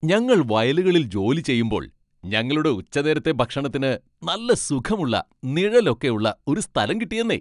ഞങ്ങൾ വയലുകളിൽ ജോലി ചെയ്യുമ്പോൾ ഞങ്ങളുടെ ഉച്ചനേരത്തെ ഭക്ഷണത്തിന് നല്ല സുഖമുള്ള നിഴലൊക്കെയുള്ള ഒരു സ്ഥലം കിട്ടിയെന്നേ!